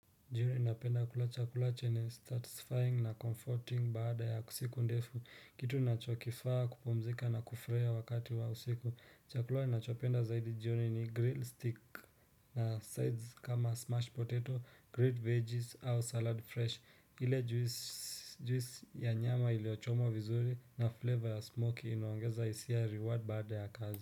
Jioni napenda kula chakula chenye satisfying na comforting baada ya kusiku ndefu kitu nachokifaa kupomzika na kufurahia wakati wa usiku chakula nachopenda zaidi jioni ni grill stick na sides kama smashed potato grilled veggies au salad fresh ile juisi ya nyama ilio chomwa vizuri na flavor ya smoke inuongeza isi ya reward baada ya kazi.